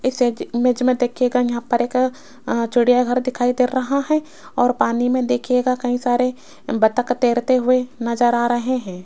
इस इमेज मे देखियेगा यहां पर एक चिड़िया घर दिखाई दे रहा है और पानी मे देखियेगा कई सारे बतख तैरते हुए नज़र आ रहे है।